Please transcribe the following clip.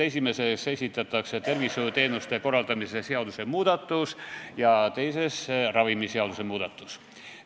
Esimeses esitatakse tervishoiuteenuste korraldamise seaduse muudatus ja teises ravimiseaduse muudatus.